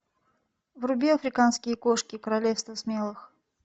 вруби африканские кошки королевство смелых